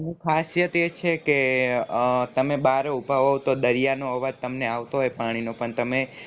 એની ખાસિયત એ છે કે એ તમે બાર એ ઉભા હોવ તો દરિયા નો અવાજ તમને આવતો હોય પાણીનો પણ તમે